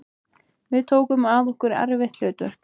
Við tókum að okkur erfitt hlutverk